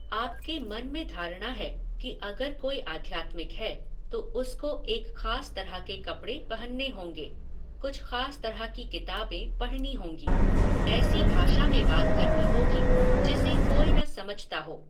आपके मन में धारणा है कि अगर कोई आध्यात्मिक है तो उसको एक खास तरह के कपड़े पहनने होंगे, कुछ खास तरह की किताबें पढनी होंगी, ऐसी भाषा में बात करनी होगी जिसे कोई न समझता हो।